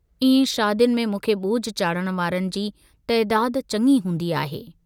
इएं शादियुनि में मूंखे बोझ चाढ़ण वारनि जी तइदाद चङी हूंदी आहे।